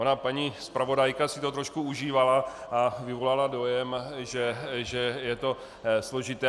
Ona paní zpravodajka si to trošku užívala a vyvolala dojem, že je to složité.